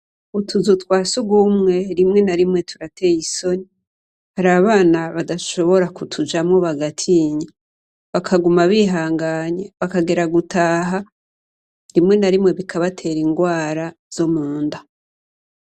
Utuzu twa sugumwe rimwe na rimwe turateye isoni. Hari abana badashobora kutujamwo bagatinya, bakaguma bihangana, rimwe na rimwe bikabatera ingwara zo munda.